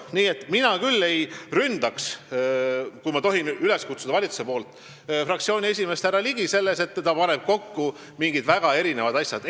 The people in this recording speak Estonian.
Nii et mina küll ei ründaks – kui ma tohin valitsuse nimel teid üles kutsuda – fraktsiooni esimeest härra Ligi selle eest, et ta paneb kokku mingid väga erinevad asjad.